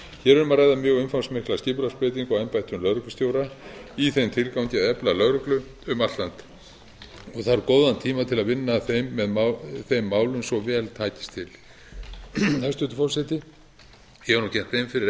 hér er um að að mjög umfangsmikla skipulagsbreytingu á embættum lögreglustjóra í þeim tilgangi að efla lögregla um allt land þarf góðan tíma til að vinna að þeim málum svo vel takist til hæstvirtur forseti ég hef nú gert grein fyrir